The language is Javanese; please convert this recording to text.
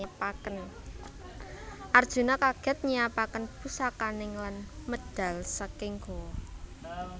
Arjuna kaget nyiyapaken pusakaning lan medal saking gowa